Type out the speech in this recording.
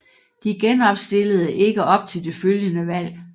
De genopstillede ikke op til det følgende valg